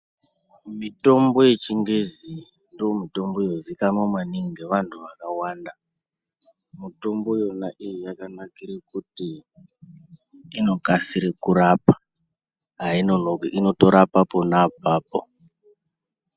Mitombo yechingezi ndiyo mitombo inoziikanwa maningi ngaantu vantu vakawanda Yona mitombo iyo yakanakire kutiinokasira kurapa ainokoki inotorapo pona apapo.